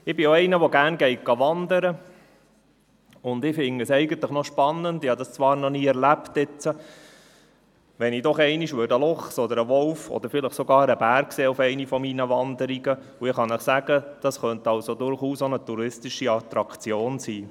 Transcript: Ich wandere gerne und fände es eigentlich noch spannend – ich habe das zwar noch nie erlebt –, wenn ich auf einer meiner Wanderungen doch einmal einen Luchs, einen Wolf oder vielleicht sogar einen Bären sehen würde, und ich kann Ihnen sagen, das könnte durchaus auch eine touristische Attraktion sein.